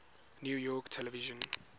new york television